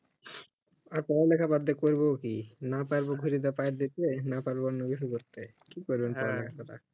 আর পড়া লেখা বাদ দিয়া কইরব ই কি না পারব না পারব অনন্য কিছু করতে কি করবেন